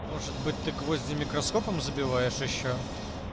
может быть ты гвозди микроскопом забиваешь ещё